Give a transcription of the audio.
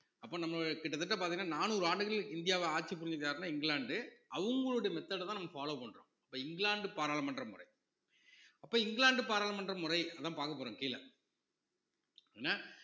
அப்ப நம்ம கிட்டத்தட்ட பாத்தீங்கன்னா நானூறு ஆண்டுகள் இந்தியாவை ஆட்சி புரிஞ்சுக்கிட்டாருன்னா இங்கிலாந்து அவங்களுடைய method அ தான் நம்ம follow பண்றோம் இப்ப இங்கிலாந்து பாராளுமன்ற முறை அப்ப இங்கிலாந்து பாராளுமன்ற முறை அதான் பார்க்க போறோம் கீழே என்ன